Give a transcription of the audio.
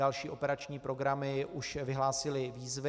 Další operační programy už vyhlásily výzvy.